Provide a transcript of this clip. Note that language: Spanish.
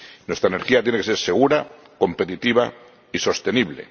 Nuestra energía tiene que ser segura, competitiva y sostenible.